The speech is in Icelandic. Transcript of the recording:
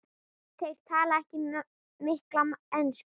Þeir tala ekki mikla ensku.